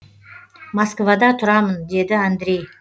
москвада тұрамын деді андрей